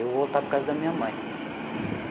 Eu vou voltar para a casa da minha mãe.